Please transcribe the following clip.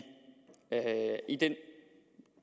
den